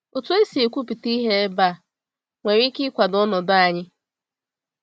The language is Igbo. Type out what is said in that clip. Otu esi ekwupụta ihe ebe a nwere ike ịkwado ọnọdụ anyị.